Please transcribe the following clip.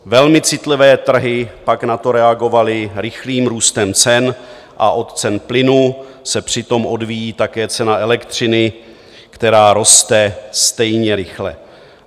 Velmi citlivé trhy pak na to reagovaly rychlým růstem cen a od cen plynu se přitom odvíjí také cena elektřiny, která roste stejně rychle.